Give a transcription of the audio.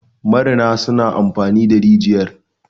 marina suna amfani da rijiyar